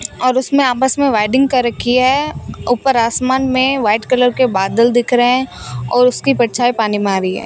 और उसमें आपस में वेडिंग कर रखी है ऊपर आसमान में व्हाइट कलर के बादल दिख रहे हैं और उसकी परछाई पानी में आ रही है।